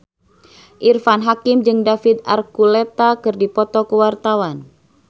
Irfan Hakim jeung David Archuletta keur dipoto ku wartawan